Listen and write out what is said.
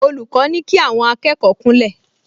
Olùkọ́ ní kí àwọn akẹ́kọ̀ọ kúnlẹ̀